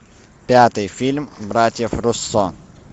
пятый фильм братьев руссо